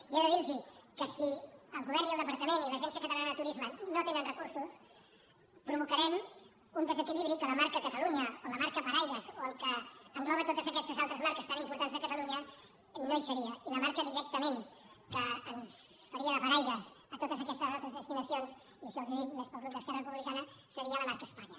i he de dir los que si el govern i el departament i l’agència catalana de turisme no tenen recursos provocarem un desequilibri que la marca catalunya o la marca paraigua o el que engloba totes aquestes altres marques tan importants de catalunya no hi seria i la marca directament que ens faria de paraigua a totes aquestes altres destinacions i això els ho dic més per al grup d’esquerra republicana seria la marca espanya